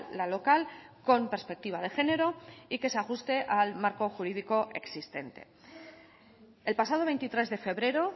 la local con perspectiva de género y que se ajuste al marco jurídico existente el pasado veintitrés de febrero